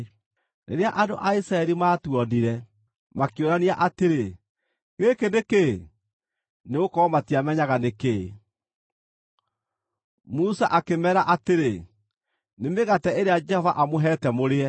Rĩrĩa andũ a Isiraeli maatuonire, makĩũrania atĩrĩ, “Gĩkĩ nĩ kĩĩ?” nĩgũkorwo matiamenyaga nĩ kĩĩ. Musa akĩmeera atĩrĩ, “Nĩ mĩgate ĩrĩa Jehova amũheete mũrĩe.